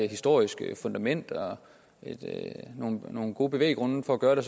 historisk fundament og nogle gode bevæggrunde for at gøre det